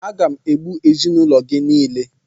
Aga m egbu ezinaụlọ gị niile!